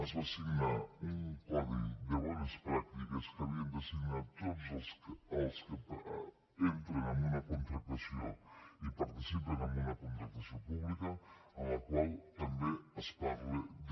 es va signar un codi de bones pràctiques que havien de signar tots els que entren en una contractació i participen en una contractació pública en la qual també es parla de